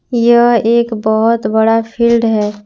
यह एक बहुत बड़ा फील्ड है।